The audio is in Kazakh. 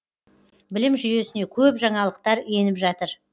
білім жүйесіне көп жаңалықтар еніп жатыр